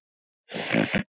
Elsku Biggi.